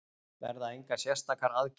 Verða engar sértækar aðgerðir